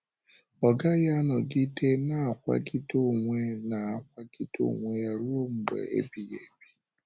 Ọ gaghị anọgide na-akwàgide onwe na-akwàgide onwe ya ruo mgbe ebighị ebi.